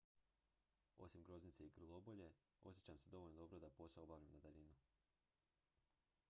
osim groznice i grlobolje osjećam se dovoljno dobro da posao obavljam na daljinu